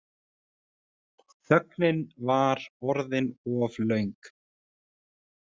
Þögnin var orðin of löng.